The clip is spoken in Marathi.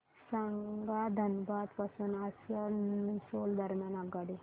सांगा धनबाद पासून आसनसोल दरम्यान आगगाडी